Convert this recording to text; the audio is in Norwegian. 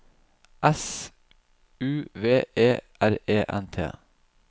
S U V E R E N T